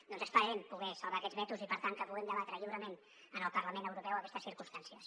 doncs esperarem poder salvar aquests vetos i per tant que puguem debatre lliurement en el parlament europeu aquestes circumstàncies